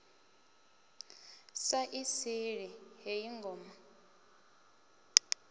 sa i sili heyi ngoma